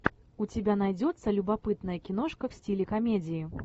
у тебя найдется любопытная киношка в стиле комедии